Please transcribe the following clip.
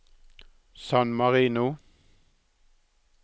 San Marino